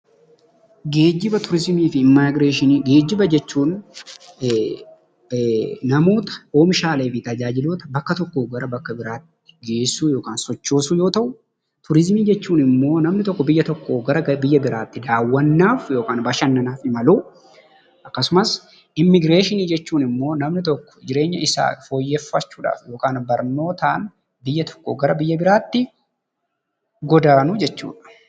Geejjiba, turizimii fi immigireeshinii. Geejjiba jechuun namoota, oomishaalee fi meeshaawwan bakka tokkootii gara bakka biraatti geessuu yookiin sochoosuu yoo ta'u; turizimii jechuun immoo namni tokko biyya tokkoo gara biyya biraatti dawwwannaaf yookiin bashannanaaf imaluudha. Akkasumas immigireeshinii jechuun immoo namni tokko jireenya isaa foyyeeffachuuf yookiin barnootaan biyya tokkoo gara biyya biraatti godaanuu jechuu dha.